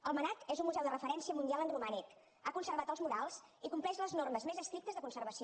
el mnac és un museu de referència mundial en romànic ha conservat els murals i compleix les normes més estrictes de conservació